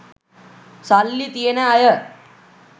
සල්ලි තියෙන අය